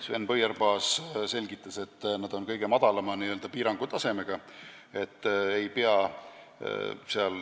Sven Põierpaas selgitas, et need on kõige madalama n-ö piirangutasemega.